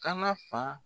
Kana fa